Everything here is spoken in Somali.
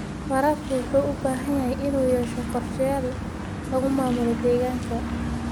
Waraabka wuxuu u baahan yahay inuu yeesho qorshayaal lagu maamulo deegaanka.